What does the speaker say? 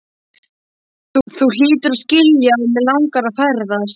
Þú hlýtur að skilja að mig langar að ferðast.